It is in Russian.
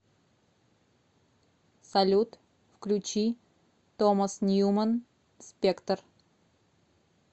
салют включи томас ньюман спектр